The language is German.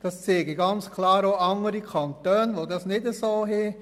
Das zeigen ganz klar auch andere Kantone, die das nicht so handhaben.